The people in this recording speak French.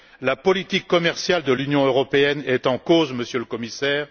La politique commerciale de l'Union européenne est en cause, Monsieur le Commissaire.